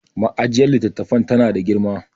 ma'ajiyar litattafan tana da girma